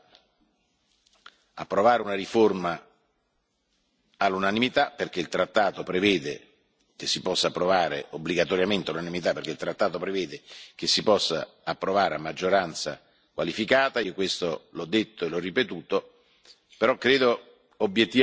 Non credo quindi che si possa approvare una riforma all'unanimità dal momento che il trattato prevede che si possa approvare obbligatoriamente all'unanimità, perché il trattato prevede che si possa approvare a maggioranza qualificata, cosa che io ho detto e ripetuto.